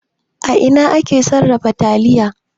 A ina ake sarrafa taliya?